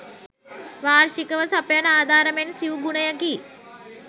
වාර්ෂිකව සපයන ආධාර මෙන් සිවු ගුණයකි.